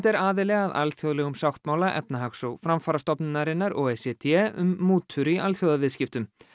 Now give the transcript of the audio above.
er aðili að alþjóðlegum sáttmála Efnahags og framfarastofnunarinnar o e c d um mútur í alþjóðaviðskiptum